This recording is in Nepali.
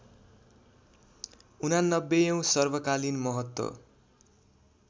८९ औँ सर्वकालीन महत्त्व